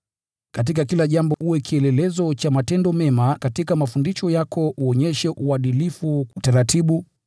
Katika kila jambo uwe kielelezo kwa kutenda mema. Katika mafundisho yako uonyeshe uadilifu, utaratibu,